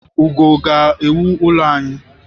Ugo ga-ewu ụlọ anyị